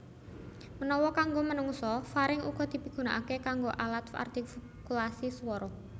Menawa kanggo menungsa faring uga dipigunaaké kanggo alat artikulasi suwara